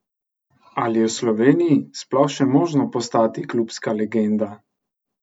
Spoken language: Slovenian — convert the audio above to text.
Ali je v Sloveniji sploh še možno postati klubska legenda?